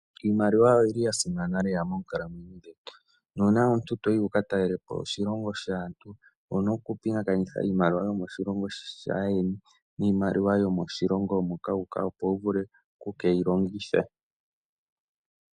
Iimaliwa oyili ya simana lela moonkalamwenyo dhetu, nuuna omuntu toyi wuka talelepo oshilongo shaantu, owu na okupingakanitha iimaliwa yomoshilongo shaayeni niimaliwa yomoshilongo moka wuuka opo wu vule oku keyi longitha.